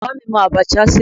Bàbá mi mọ abacha ṣe.